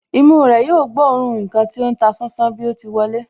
Imú rẹ̀ yóò gbóòórùn ǹkan tí ó ń ta sánsán bí o ti wọlé